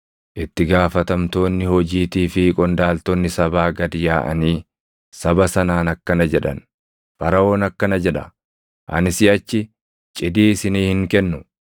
Itti gaafatamtoonni hojiitii fi qondaaltonni sabaa gad yaaʼanii saba sanaan akkana jedhan; “Faraʼoon akkana jedha: ‘Ani siʼachi cidii isinii hin kennu.